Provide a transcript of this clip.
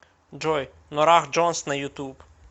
джой норах джонс на ютуб